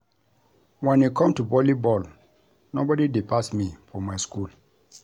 Wen e come to volley ball nobody dey pass me for my school